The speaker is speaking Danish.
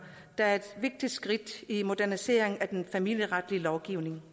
der er et vigtigt skridt i moderniseringen af den familieretlige lovgivning